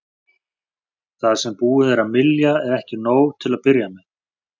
Það sem búið er að mylja er ekki nóg til að byrja með.